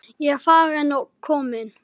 Ég er farin og komin.